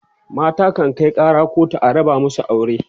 mata kan Kai Kara kotu a raba masu aure